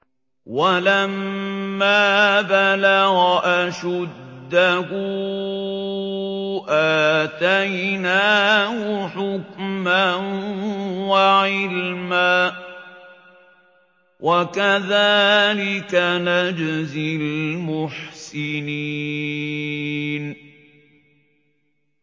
وَلَمَّا بَلَغَ أَشُدَّهُ آتَيْنَاهُ حُكْمًا وَعِلْمًا ۚ وَكَذَٰلِكَ نَجْزِي الْمُحْسِنِينَ